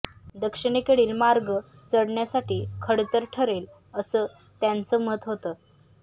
दक्षिणेकडील मार्ग चढण्यासाठी खडतर ठरेल असं त्यांचं मत होतं